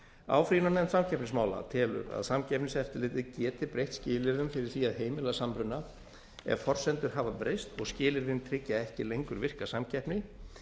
áfrýjunarnefnd samkeppnismála telur að samkeppniseftirlitið geti breytt skilyrðum fyrir því að heimila samruna ef forsendur hafa breyst og skilyrðin tryggja ekki lengur virka samkeppni